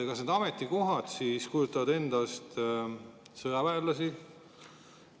Kas need ametikohad kujutavad endast sõjaväelasi?